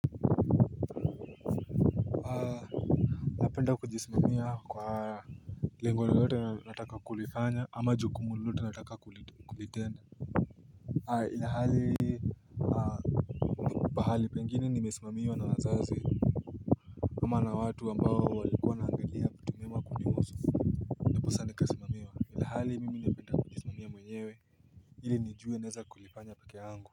Aaaa Napenda kujismamia kwa Lengo lolote nataka kulifanya ama jukumu lolote nataka kulitenda ilalhali pahali pengine nimesimamiwa na wazazi ama na watu ambao walikua wanaangalia vitu vyema kunihusu ndiposa nikasimamiwa Ilhali mimi napenda kujisimamia mwenyewe ili nijue naweza kulifanya pake yangu.